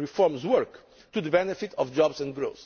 reforms work to the benefit of jobs and growth.